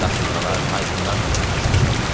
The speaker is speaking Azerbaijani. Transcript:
Qasırğalar, tayfunlarla çarpışmışam.